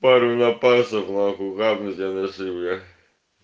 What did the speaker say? пару на пальцах нахуй хапнуть анаши бля